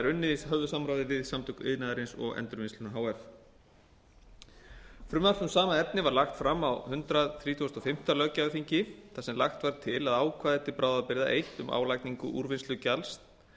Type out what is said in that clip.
unnið að höfðu samráði við samtök iðnaðarins og endurvinnsluna h f frumvarp um sama efni var lagt fram á hundrað þrítugasta og fimmta löggjafarþingi þar sem lagt var til að ákvæði til bráðabirgða eitt um álagningu úrvinnslugjalds